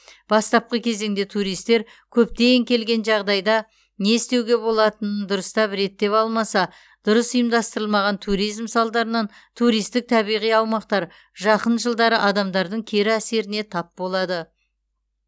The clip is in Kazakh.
бастапқы кезеңде туристер көптен келген жағдайда не істеуге болатынын дұрыстап реттеп алмаса дұрыс ұйымдастырылмаған туризм салдарынан туристік табиғи аумақтар жақын жылдары адамдардың кері әсеріне тап болады